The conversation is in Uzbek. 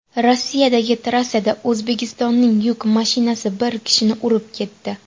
Rossiyadagi trassada O‘zbekistonning yuk mashinasi bir kishini urib ketdi.